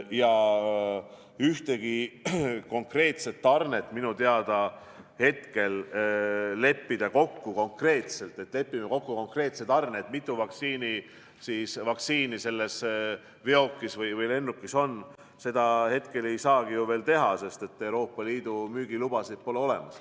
Ja ühtegi konkreetset tarnet minu teada hetkel kokku leppida – nii, et lepime kokku konkreetse tarne, mitu vaktsiini selles veokis või lennukis on – ju veel ei saagi, sest Euroopa Liidu müügilubasid pole olemas.